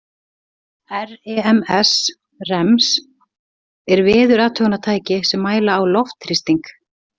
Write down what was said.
REMS er veðurathugunartæki sem mæla á loftþrýsting.